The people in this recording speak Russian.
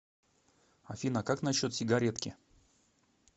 афина как насчет сигаретки